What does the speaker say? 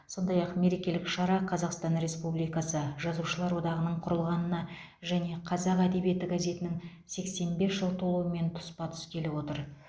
сондай ақ мерекелік шара қазақстан республикасы жазушылар одағының құрылғанына және қазақ әдебиеті газетінің сексен бес жыл толуымен тұспа тұс келіп отыр